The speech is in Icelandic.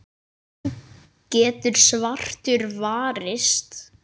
getur svartur varist.